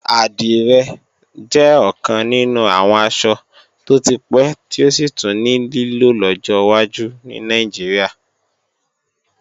Àdìrẹ jẹ́ ọ̀kan nínú àwọn aṣọ tó ti pẹ́ tí ó sì tún ní lílò lọ́jọ́ wájú ní Nàìjíríà